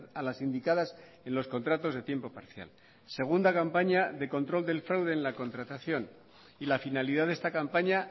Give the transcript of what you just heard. a las indicadas en los contratos de tiempo parcial segunda campaña de control del fraude en la contratación y la finalidad de esta campaña